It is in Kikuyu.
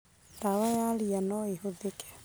Ndawa ya ria noĩhũthĩke.